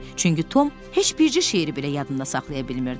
Çünki Tom heç bircə şeiri belə yadında saxlaya bilmirdi.